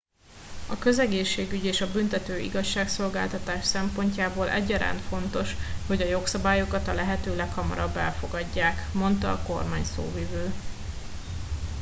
a közegészségügy és a büntető igazságszolgáltatás szempontjából egyaránt fontos hogy a jogszabályokat a lehető leghamarabb elfogadják - mondta a kormányszóvivő